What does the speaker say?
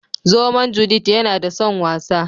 Zomon " Judith " yana da son wasa.